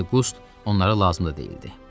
İndi Qust onlara lazım da deyildi.